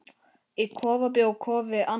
Í kofa bjó Kofi Annan.